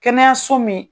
Kɛnɛyaso min